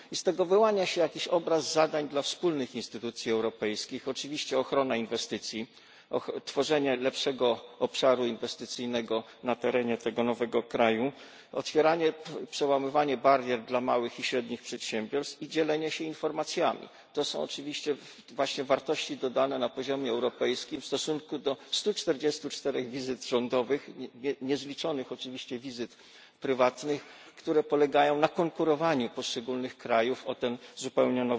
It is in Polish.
Z tego wyłania się pewien obraz zadań dla instytucji europejskich, czyli ochrona inwestycji, tworzenie lepszego obszaru inwestycyjnego na terenie tego nowego kraju, przełamywanie barier dla małych i średnich przedsiębiorstw i dzielenie się informacjami. Są to bez wątpienia wartości dodane na poziomie europejskim w stosunku do 144 wizyt rządowych i niezliczonych wizyt prywatnych, które polegają na konkurowaniu poszczególnych krajów o ten zupełnie